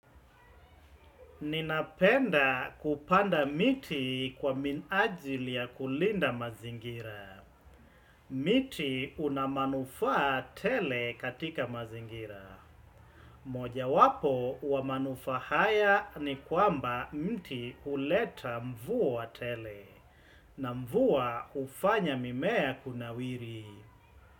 Ninapenda kupanda miti kwa minajili ya kulinda mazingira. Miti una manufaa tele katika mazingira. Moja wapo wa manufaa haya ni kwamba miti huleta mvua tele. Na mvua hufanya mimea kuna wiri.